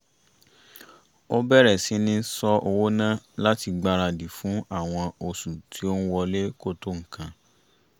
ó bẹ̀rẹ̀ síní ṣọ owó ná láti gbáradì fún àwọn oṣù tí ó ń wọlé kò tó nǹkan